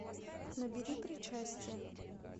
набери причастие